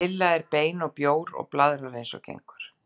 Lilla er aðeins bein og bjór og blaðrar eins og gengur.